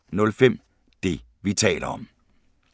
05:05: Det, vi taler om (G)